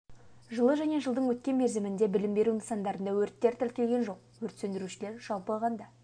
жылы және жылдың өткен мерзімінде білім беру нысандарында өрттер тіркелген жоқ өрт сөндірушілер жалпы алғанда